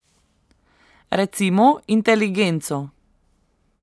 Recimo inteligenco.